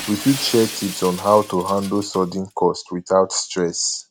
we fit share tips on how to handle sudden costs without stress